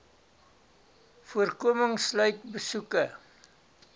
voorkoming sluit besoeke